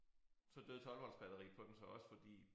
Så døde 12 volts batteriet på den så også fordi